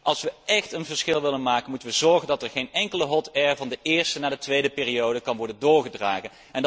Als we echt een verschil willen maken, moeten we zorgen dat er geen enkele hot air van de eerste naar de tweede periode kan worden overgedragen.